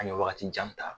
An ye wagati jan ta